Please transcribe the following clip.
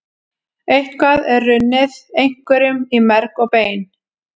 Eitthvað er runnið einhverjum í merg og bein